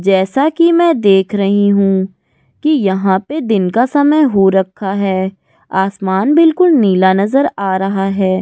जैसा कि मैं देख रही हूं कि यहां पर दिन का समय हो रखा है आसमान बिल्कुल नीला नजर आ रहा है --